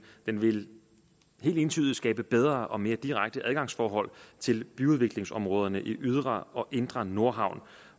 vil helt entydigt skabe bedre og mere direkte adgangsfordhold til byudviklingsområderne i den ydre og indre nordhavn